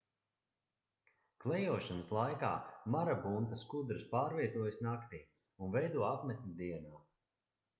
klejošanas laikā marabunta skudras pārvietojas naktī un veido apmetni dienā